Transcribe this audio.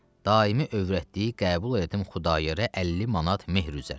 Daimi övrətliyə qəbul elədim Xudayara 50 manat mehr üzərinə.